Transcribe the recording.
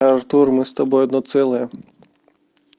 артур мы с тобой одно целое